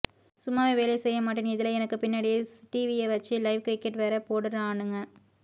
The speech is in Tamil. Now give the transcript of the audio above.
சும்மாவே வேலை செய்ய மாட்டேன் இதுல எனக்கு பின்னாடியே டிவிய வச்சு லைவ் கிரிக்கெட் வேற போடுறானுங்க